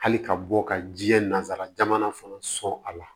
Hali ka bɔ ka jiɲɛ nasara jamana fana sɔn a la